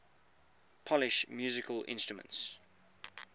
polish musical instruments